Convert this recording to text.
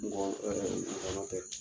ŋɔn ɛ ŋɔnɔ tɛ